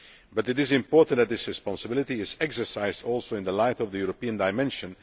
But it is important that this responsibility is also exercised in the light of the European dimension.